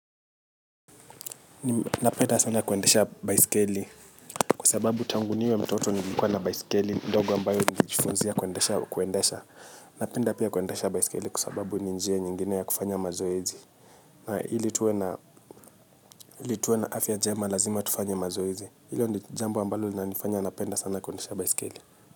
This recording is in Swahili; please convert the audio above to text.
Na penda sana kuendesha baisikeli. Kwa sababu tangu niwe mtoto nilikuwa na baisikeli ndogo ambayo nilijifunzia kuendesha. Na penda pia kuendesha baisikeli kwa sababu ni njia nyingine ya kufanya mazoezi. Na ili tuwe na afya njema lazima tufanye mazoezi. Hilo ni jambo ambalo linanifanya napenda sana kuendesha baisikeli.